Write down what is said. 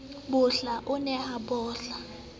bohla o ne a bohla